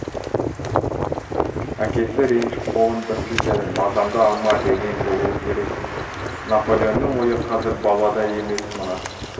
әкесі ренжіп қолын бір сілтеді мазамды алма деген болуы керек наполеонның ойы қазір балада емес мына